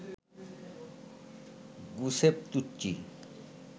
Giuseppe Tucci